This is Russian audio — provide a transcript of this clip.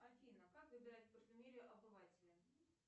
афина как выбирать парфюмерию обывателям